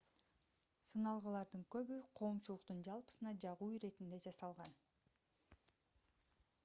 сыналгылардын көбү коомчулуктун жалпысына жагуу иретинде жасалган